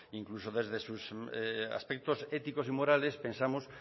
incluso desde sus aspectos éticos y morales pensamos